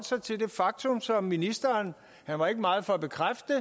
sig til det faktum som ministeren han var ikke meget for at bekræfte